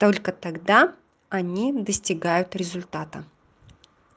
только тогда они достигают результата